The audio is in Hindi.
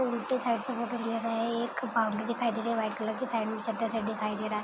उल्टे साइड से फोटो लिया गया है एक बाउंड्री दिखाई दे रही है साइड में चद्दर सेट दिखाई दे रहा है।